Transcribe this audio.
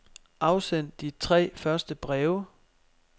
Afsend de tre første breve.